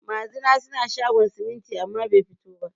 Magina suna shogon siminti amma bai fito ba